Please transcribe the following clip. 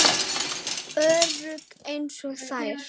Örugg einsog þær.